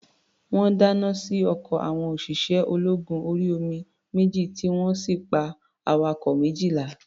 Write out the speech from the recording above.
Wọ́n dáná sí ọkọ̀ àwọn òṣìṣẹ́-ológun-orí-omi méjì, tí wọ́n sì pa awakọ̀ méjìlá.